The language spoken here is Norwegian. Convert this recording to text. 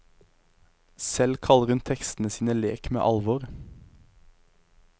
Selv kaller hun tekstene sine lek med alvor.